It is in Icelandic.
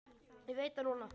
Ég veit það núna.